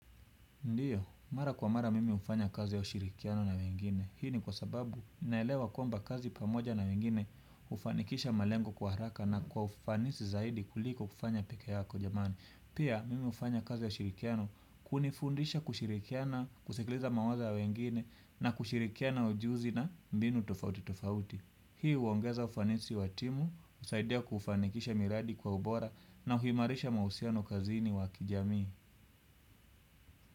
Ndiyo, mara kwa mara mimi hufanya kazi ya ushirikiano na wengine. Hii ni kwa sababu ninaelewa kwamba kazi pamoja na wengine hufanikisha malengo kwa haraka na kwa ufanisi zaidi kuliko kufanya peke yako jamani. Pia, mimi hufanya kazi ya ushirikiano kunifundisha kushirikiana, kusikiliza mawaza ya wengine na kushirikiana ujuzi na mbinu tofauti tofauti. Hii huongeza ufanisi wa timu, husaidia kufanikisha miradi kwa ubora na kuimarisha mahusiano kazini wa kijamii.